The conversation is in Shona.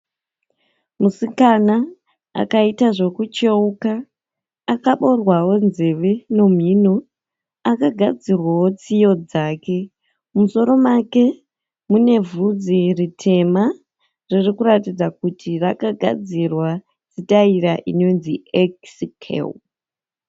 Musikana akaita zvokucheuka. Akaboorwawo nzeve nomhino. Akagadzirwa tsiyo dzake. Mumusoro make munebvudzi ritema riri kuratidza kuti akagadzirwa sitaira inonzi ekisi kero.